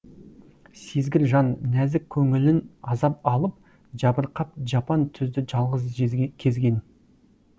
сезгір жан нәзік көңілін азап алып жабырқап жапан түзді жалғыз кезген